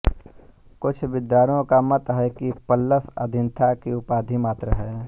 कुछ विद्वानों का मत है कि पल्लस अथीना की उपाधि मात्र है